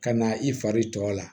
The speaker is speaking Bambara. Ka na i fari tɔ la